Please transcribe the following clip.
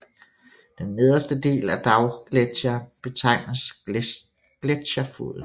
Den nederste del af dalgletsjeren betegnes gletsjerfoden